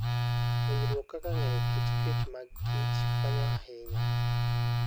Puonjruok kaka ng'eyo kit chwech mag kichkonyo ahinya.